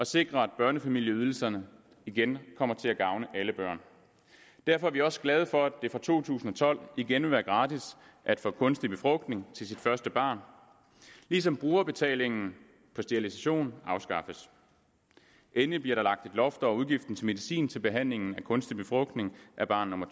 sikre at børnefamilieydelserne igen kommer til at gavne alle børn derfor er vi også glade for at det fra to tusind og tolv igen vil være gratis at få kunstig befrugtning til sit første barn ligesom brugerbetalingen på sterilisation afskaffes endelig bliver der lagt et loft over udgiften til medicin til behandlingen med kunstig befrugtning af barn nummer